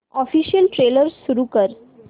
official trailer सुरू कर